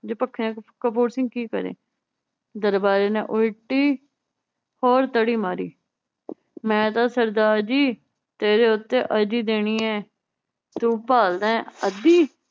ਕਪੂਰ ਸਿੰਘ ਕੀ ਕਰੇ ਦਰਬਾਰੀ ਨੇ ਉਲਟੀ ਹੋਰ ਤੜੀ ਮਾਰੀ ਮੈ ਤਾਂ ਸਰਦਾਰ ਜੀ ਤੇਰੇ ਉੱਤੇ ਅਰਜੀ ਦੇਣੀ ਏ ਤੂੰ ਭਾਲਦਾ ਏ ਅੱਧੀ